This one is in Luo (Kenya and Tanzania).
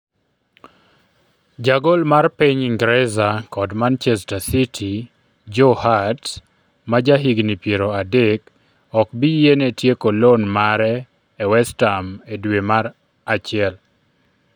Jagol mar piny Ingresa kod Manchester City, Joe Hart, ma jahigni piero adek, okbiyiene tieko loan mare e West Ham e dwe mar achiel.